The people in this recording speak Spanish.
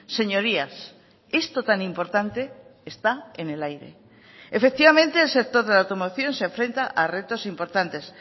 señorías esto tan importante está en el aire efectivamente el sector de la automoción se enfrenta a retos importantes